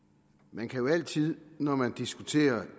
man kan jo altid når man diskuterer